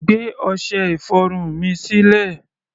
Gbé ọṣẹ-ìfọrun mi sílẹ̀!